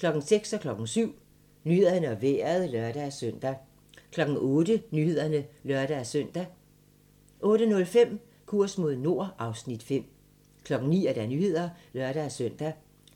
06:00: Nyhederne og Vejret (lør-søn) 07:00: Nyhederne og Vejret (lør-søn) 08:00: Nyhederne (lør-søn) 08:05: Kurs mod nord (Afs. 5) 09:00: Nyhederne (lør-søn)